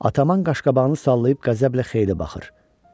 Ataman qaşqabağını sallayıb qəzəblə xeyli baxır.